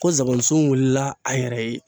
Ko zaban sun wulila a yɛrɛ ye.